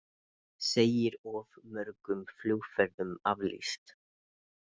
Segir of mörgum flugferðum aflýst